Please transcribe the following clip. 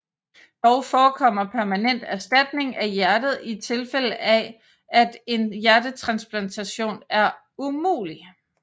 Dog forekommer permanent erstatning af hjertet i tilfælde af at en hjertetransplantation er umulig